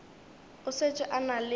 o šetše a na le